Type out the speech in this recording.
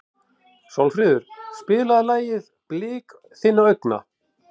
Sólfríður, spilaðu lagið „Blik þinna augna“.